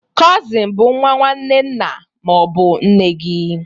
Kozin bụ nwa nwanne nna ma ọ bụ nne gị.